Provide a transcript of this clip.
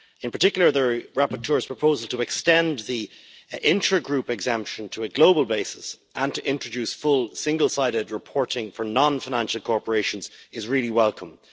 In particular, the rapporteur's proposal to extend the intra group exemption to a global basis and to introduce full, single sided reporting for non financial corporations is welcomed.